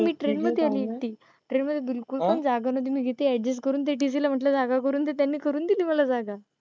मी train मधे आहे मी एकटी, train मधे बिलकुल पण जागा नाही नव्हती मी इथे adjust त्या tc ला म्हंटलं जागा करून दे त्याने करून देली मला जागा.